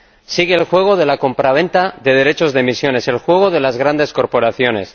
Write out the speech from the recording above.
Sigue el juego de la compraventa de derechos de emisión, el juego de las grandes corporaciones